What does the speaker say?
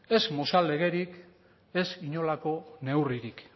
ez mozal legerik ez inolako neurririk